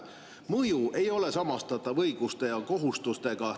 Mõju ei ole samastatav õiguste ja kohustustega.